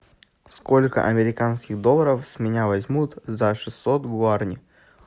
сколько американских долларов с меня возьмут за шестьсот гуарани